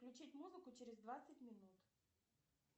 включить музыку через двадцать минут